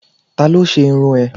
Talo se irún e?